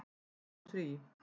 Tíu mínútur í